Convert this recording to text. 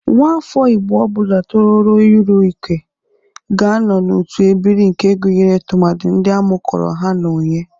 Nwafọ Igbo ọ bụla tororo iru uke ga-anọ n'otu ebiri nke gụnyere tụmadị ndị amụkọrọ ha na onye.